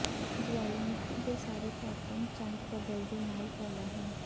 ਜਵਾਲਾਮੁਖੀ ਦੇ ਸਾਰੇ ਪੈਟਰਨ ਚੰਦ ਕਦਰ ਦੇ ਨਾਲ ਕਾਲਾ ਹਨ